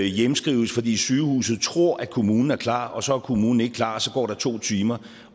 hjemskrives fordi sygehuset tror at kommunen er klar og så er kommunen ikke klar og så går der to timer